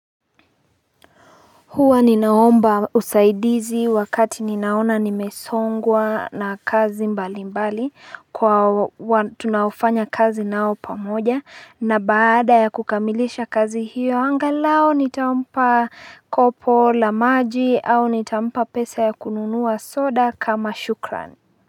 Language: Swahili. Huwa ni naomba usaidizi wakati ni naona nimesongwa na kazi mbali mbali Kwa watu na ufanya kazi nao pomoja na baada ya kukamilisha kazi hiyo angalao ni taumpa kopo, lamaji, au nitampa pesa ya kununua soda kama shukran.